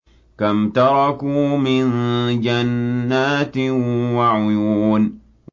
كَمْ تَرَكُوا مِن جَنَّاتٍ وَعُيُونٍ